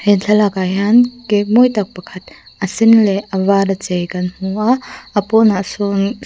he thlalak ah hian cake mawi tak pakhat a sen leh a var a chei kan hmu a a pawn ah sawn--